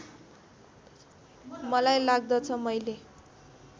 मलाई लाग्दछ मैले